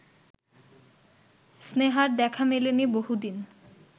স্নেহার দেখা মেলেনি বহুদিন